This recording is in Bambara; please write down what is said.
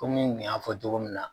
Kɔmi n kun y'a fɔ togo min na.